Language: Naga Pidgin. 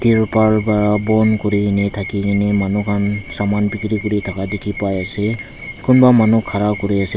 tirpal para bon kurikaena thakikene manu han saman bikiri kuri thaka dikhiase kunba manu khara kuriase.